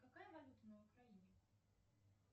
какая валюта на украине